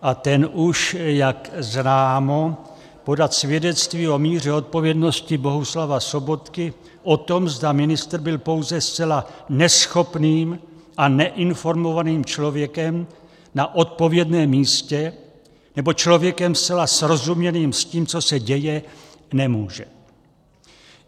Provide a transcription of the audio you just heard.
A ten už, jak známo, podat svědectví o míře odpovědnosti Bohuslava Sobotky o tom, zda ministr byl pouze zcela neschopným a neinformovaným člověkem na odpovědném místě, nebo člověkem zcela srozuměným s tím, co se děje, nemůže.